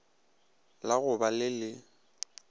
la go ba le le